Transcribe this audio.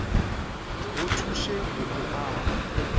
go thuše go o aga